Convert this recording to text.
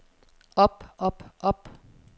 op op op